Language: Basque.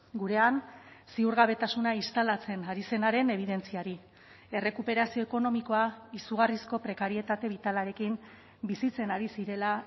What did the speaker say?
gurean ziurgabetasuna instalatzen ari zenaren ebidentziari errekuperazio ekonomikoa izugarrizko prekarietate bitalarekin bizitzen ari zirela